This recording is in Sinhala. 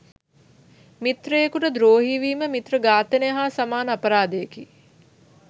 මිත්‍රයෙකුට ද්‍රෝහී වීම, මිත්‍ර ඝාතනය හා සමාන අපරාධයකි.